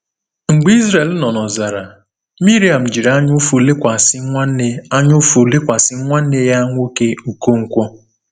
Mgbe Izrel nọ n’ọzara, Miriam jiri anyaụfụ lekwasị nwanne anyaụfụ lekwasị nwanne ya nwoke Okonkwo.